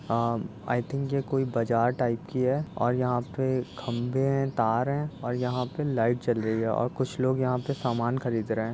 a I think ये कोई बजार टाइप की है और यहाँ पे खंभें हैं तार है और यहाँ पे लाइट जल रही है और कुछ लोग यहाँ पे सामान खरीद रहे --